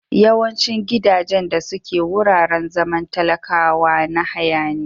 Yawaicin gidajen da suke wuraren zaman talakwa na haya ne.